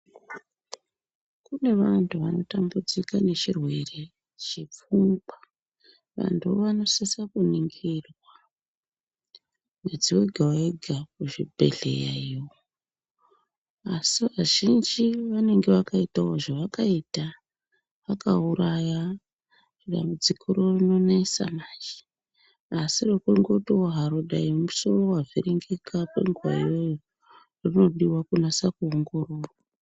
Kune vantu vanotambudzika nechirwere chepfungwa , vantu ivavo vanosisa kuningirwa mwedzi wega wega kuzvibhedhleya iyoo asi vazhinji vanenge vakaitawo zvavakaita vakauraya, dambudziko iroro rinonesa manje asi rekungotiwo hayi musoro wavhiringika kwenguva iyoyo rinoda kunatso kuongororwa.